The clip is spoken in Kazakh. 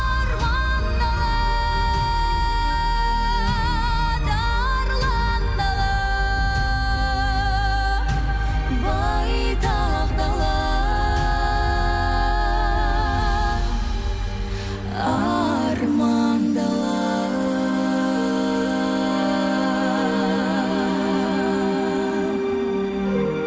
арман дала тарлан дала байтақ дала арман дала